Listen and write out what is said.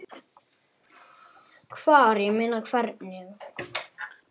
Hvar, ég meina. hvernig?